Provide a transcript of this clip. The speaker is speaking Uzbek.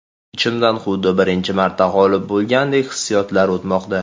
Ichimdan xuddi birinchi marta g‘olib bo‘lgandek hissiyotlar o‘tmoqda.